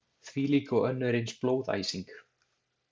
Þvílík og önnur eins blóðæsing.